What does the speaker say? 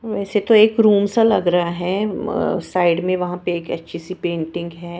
वैसे तो एक रूम सा लग रहा है अह साइड में वहां पे एक अच्छी सी पेंटिंग है।